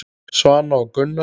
Svana og Gunnar.